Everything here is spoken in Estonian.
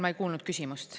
Ma ei kuulnud küsimust.